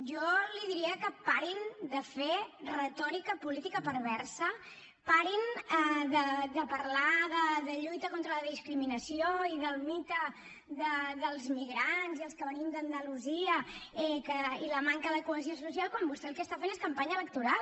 jo li diria que parin de fer retòrica política perversa parin de parlar de lluita contra la discriminació i del mite dels migrants i dels que venim d’andalusia i de la manca de cohesió social quan vostè el que està fent és campanya electoral